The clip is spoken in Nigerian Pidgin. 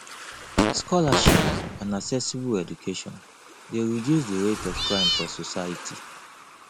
scholarship and accessible education de reduce the rate of crime for society